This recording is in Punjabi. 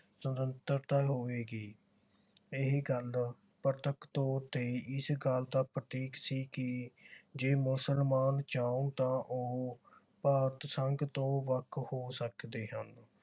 ਸੁਤੰਤਰਤਾ ਹੋਵੇਗੀ। ਇਹੀ ਗੱਲ ਪ੍ਰਤੱਖ ਤੌਰ ਤੇ ਇਸ ਗੱਲ ਦਾ ਪ੍ਰਤੀਕ ਸੀ ਕਿ ਜੇ ਮੁਸਲਮਾਨ ਚਾਹੁੰਣ ਤਾਂ ਉਹ ਭਾਰਤ ਸੰਘ ਤੋਂ ਵੱਖ ਹੋ ਸਕਦੇ ਹਨ।